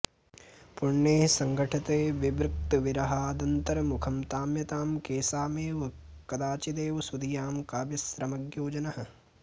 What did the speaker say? पुण्यैः सङ्घटते विवेक्तृविरहादन्तर्मुखं ताम्यतां केषामेव कदाचिदेव सुधियां काव्यश्रमज्ञो जनः